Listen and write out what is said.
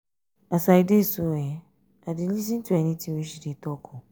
as i dey so i dey lis ten to any thing she dey talk.